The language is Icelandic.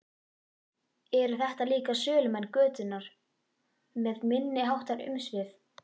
Eru þetta líka sölumenn götunnar með minniháttar umsvif?